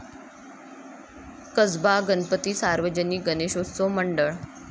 कसबा गणपती सार्वजनिक गणेशोत्सव मंडळ